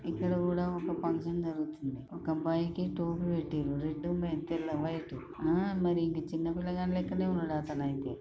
ఇక్కడ కూడా ఒక ఫంక్షన్ జరుగుతున్నది ఒక అబ్బాయికి టోపీ పెట్టిరు రెడ్ మే తెల్ల వైట్ ఆ మరి ఇంక చిన్న పిల్లగాని లెక్కనే ఉన్నడు అతనైతే.